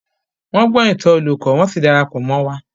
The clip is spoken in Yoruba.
Wọ́n gbọ́ ìtàn olùkó, wọ́n sì dara pọ̀ mọ́ wa.